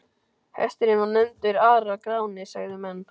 Hesturinn var nefndur Ara-Gráni, sögðu menn.